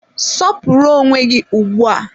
Sọpụrụ onwe gị ugbu a!